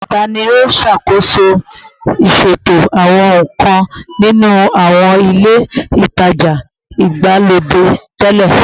Tani o ṣakoso iṣeto awọn ohun kan ninu awọn ile itaja igbalode tẹlẹ?